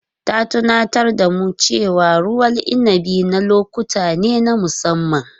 Ta tunatar da mu cewa ruwan inabi na lokuta ne na musamman.